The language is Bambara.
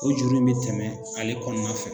O juru in be tɛmɛ ale kɔnɔna fɛ.